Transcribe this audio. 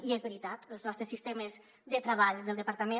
i és veritat els nostres sistemes de treball del departament